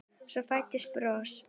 Svo fæddist bros.